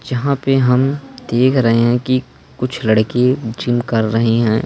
जहां पे हम देख रहे हैं कि कुछ लड़के जिम कर रहे है।